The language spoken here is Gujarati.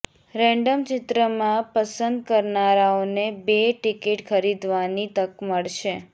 રેન્ડમ ચિત્રમાં પસંદ કરનારાઓને બે ટિકિટ ખરીદવાની તક મળશે